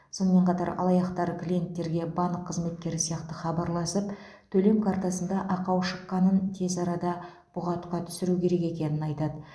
сонымен қатар алаяқтар клиенттерге банк қызметкері сияқты хабарласып төлем картасында ақау шыққанын тез арада бұғатқа түсіру керек екенін айтады